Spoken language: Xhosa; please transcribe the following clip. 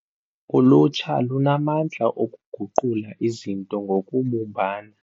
Ulutsha lunamandla okuguqula izinto ngokubumbana.